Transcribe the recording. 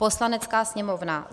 Poslanecká sněmovna